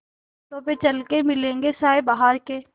कांटों पे चल के मिलेंगे साये बहार के